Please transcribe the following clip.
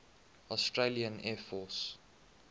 australian air force